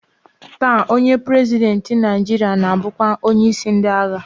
Taa, onye prezidentị Naịjiria na-abụkwa onyeisi ndị agha